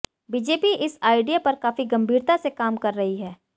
BJP इस idea पर काफी गंभीरता से काम कर रही है